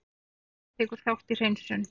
Loftfar tekur þátt í hreinsun